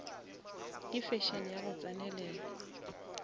ke fashion ya go tsenelela